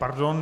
Pardon.